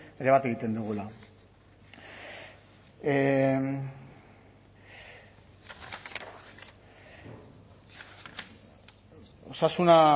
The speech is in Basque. ere bat egiten dugula osasuna